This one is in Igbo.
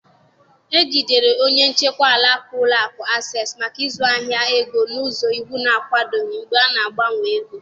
E jidere onye njikwa alaka ụlọ akụ Access maka ịzụ ahịa ego n'ụzọ iwu na-akwadoghị mgbe a na-agbanwe ego